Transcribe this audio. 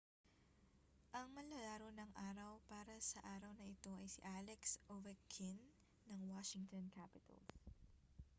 ang manlalaro ng araw para sa araw na ito ay si alex ovechkin ng washington capitals